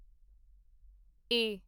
ਏ